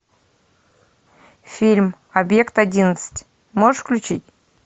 фильм объект одиннадцать можешь включить